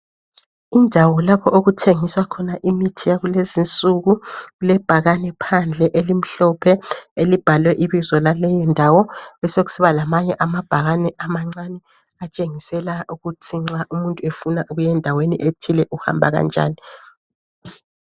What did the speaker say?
Indawo lapho okuthengiswa khona imithi yakulezi nsuku kulebhakani phandle elimhlophe elibhalwe ibizo lale indawo sokusiba lamanye amabhakane amancane atshengisela ukuthi nxa umuntu efuna ukuya endaweni ethile uhamba kanjani.